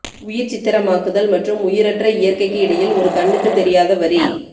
உயிர்ச்சித்தரமாக்குதல் மற்றும் உயிரற்ற இயற்கைக்கு இடையில் ஒரு கண்ணுக்கு தெரியாத வரி